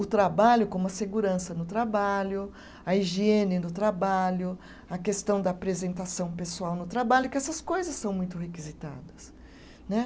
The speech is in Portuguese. o trabalho, como a segurança no trabalho, a higiene no trabalho, a questão da apresentação pessoal no trabalho, que essas coisas são muito requisitadas né.